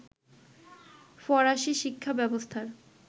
ফরাসি শিক্ষা ব্যবস্থার